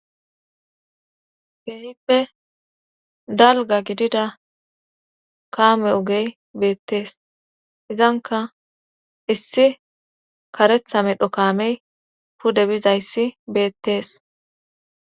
Keehippe dalgga gidida kaame ogey beettees. izankka issi karetha medho kaamey pude bizayssi beettees.